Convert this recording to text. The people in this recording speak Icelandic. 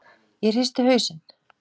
Ég hristi hausinn.